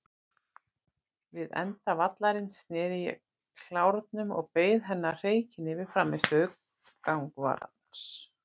Við enda vallarins sneri ég klárnum og beið hennar hreykinn yfir frammistöðu gangvarans.